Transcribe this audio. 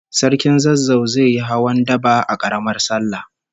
Sarkin Zazzau zai yi hawan daba da Karamar sallah